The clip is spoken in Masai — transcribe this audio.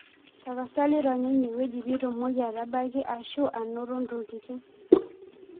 Tapasali ronya eneweji pitumoki atabaki ashu anoto ntokitin.